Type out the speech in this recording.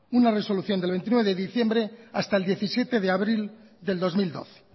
una resolución del veintinueve de diciembre hasta el diecisiete de abril del dos mil doce